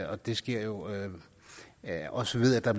og det sker jo også ved at der